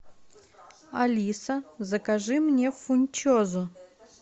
алиса закажи мне фунчозу